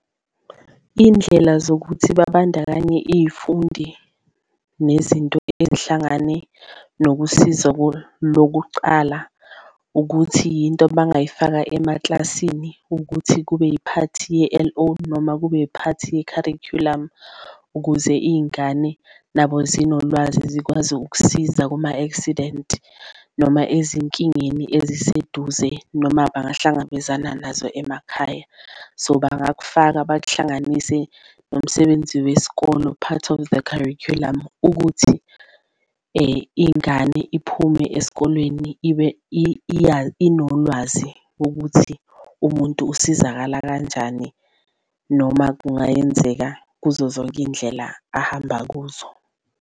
Iy'ndlela zokuthi babandakanye iy'fundi nezinto ezihlangane nokusiza lokucala ukuthi yinto abangayifaka emaklasini ukuthi kube yiphathi ye-L_O noma kube iphathi yekharikhulamu. Ukuze iy'ngane nabo zinolwazi zikwazi ukukusiza kuma-accident noma ezinkingeni eziseduze, noma abangahlangabezana nazo emakhaya. So, bakufaka bakuhlanganise nomsebenzi wesikolo, part of the curriculum ukuthi ingane iphume esikolweni inolwazi ukuthi umuntu usizakala kanjani noma kungayenzeka kuzo zonke indlela ahamba kuzo.